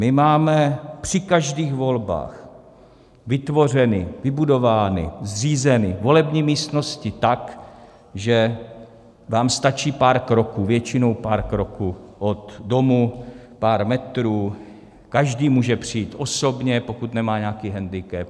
My máme při každých volbách vytvořeny, vybudovány, zřízeny volební místnosti tak, že vám stačí pár kroků, většinou pár kroků, od domu, pár metrů, každý může přijít osobně, pokud nemá nějaký hendikep.